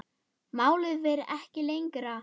Málið fer ekki lengra.